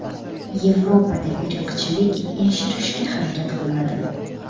Yevropada irqchilik yashirishga harakat qilinadi.